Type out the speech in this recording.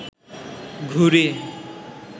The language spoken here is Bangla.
ঘুড়ি